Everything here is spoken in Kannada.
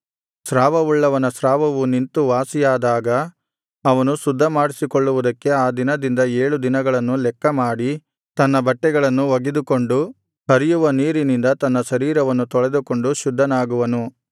ಸ್ರಾವವುಳ್ಳವನ ಸ್ರಾವವು ನಿಂತು ವಾಸಿಯಾದಾಗ ಅವನು ಶುದ್ಧಮಾಡಿಸಿಕೊಳ್ಳುವುದಕ್ಕೆ ಆ ದಿನದಿಂದ ಏಳು ದಿನಗಳನ್ನು ಲೆಕ್ಕಮಾಡಿ ತನ್ನ ಬಟ್ಟೆಗಳನ್ನು ಒಗೆದುಕೊಂಡು ಹರಿಯುವ ನೀರಿನಿಂದ ತನ್ನ ಶರೀರವನ್ನು ತೊಳೆದುಕೊಂಡು ಶುದ್ಧನಾಗುವನು